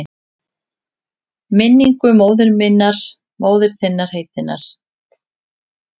Minningu móður þinnar heitinnar?